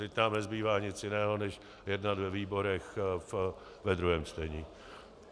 Teď nám nezbývá nic jiného než jednat ve výborech ve druhém čtení.